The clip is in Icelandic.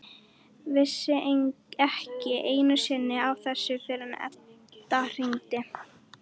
Vissi ekki einu sinni af þessu fyrr en Edda hringdi.